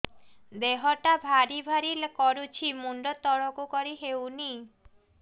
ଦେହଟା ଭାରି ଭାରି କରୁଛି ମୁଣ୍ଡ ତଳକୁ କରି ହେଉନି